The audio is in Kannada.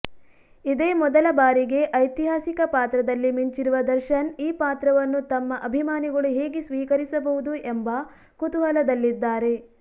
ಇದೇ ಮೊದಲ ಬಾರಿಗೆ ಐತಿಹಾಸಿಕ ಪಾತ್ರದಲ್ಲಿ ಮಿಂಚಿರುವ ದರ್ಶನ್ ಈ ಪಾತ್ರವನ್ನು ತಮ್ಮ ಅಭಿಮಾನಿಗಳು ಹೇಗೆ ಸ್ವೀಕರಿಸಬಹುದು ಎಂಬ ಕುತೂಹಲದಲ್ಲಿದ್ದಾರೆ